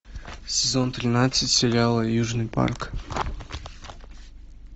сезон тринадцать сериала южный парк